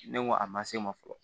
Ne ko a ma se n ma fɔlɔ